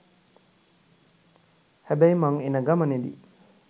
හැබැයි මං එනගමනෙදි